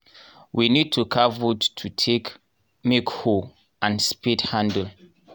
we need to carve wood take make hoe and spade handle.